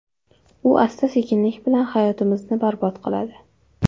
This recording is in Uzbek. U asta-sekinlik bilan hayotimizni barbod qiladi.